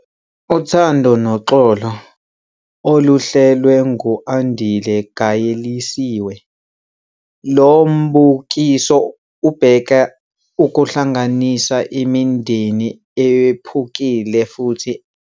Uthando Noxolo - Oluhlelwe ngu-Andile Gaelisiwe, lo mbukiso ubheka ukuhlanganisa imindeni ephukile futhi elwayo.